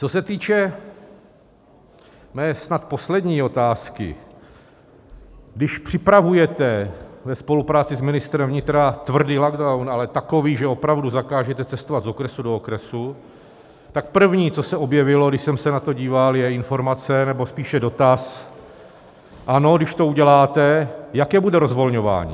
Co se týče mé snad poslední otázky: Když připravujete ve spolupráci s ministrem vnitra tvrdý lockdown, ale takový, že opravdu zakážete cestovat z okresu do okresu, tak první, co se objevilo, když jsem se na to díval, je informace nebo spíše dotaz, ano, když to uděláte, jaké bude rozvolňování?